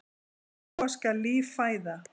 Með lúa skal líf fæða.